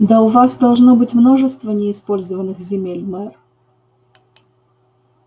да у вас должно быть множество неиспользованных земель мэр